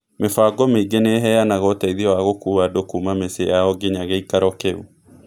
Mĩbango mĩingĩ nĩ ĩheanaga ũteithio wa gũkua andũ kuuma mĩciĩ yao nginya gĩikaro kĩu.